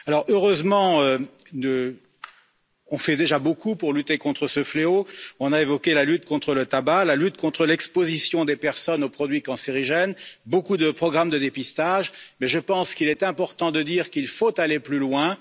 Heureusement, on fait déjà beaucoup pour lutter contre ce fléau. On a évoqué la lutte contre le tabac, la lutte contre l'exposition des personnes aux produits cancérigènes, beaucoup de programmes de dépistage, mais je pense qu'il est important de dire qu'il faut aller plus loin.